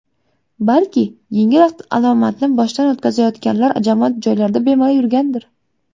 Balki, yengil alomatni boshdan o‘tkazayotganlar jamoat joylarida bemalol yurgandir.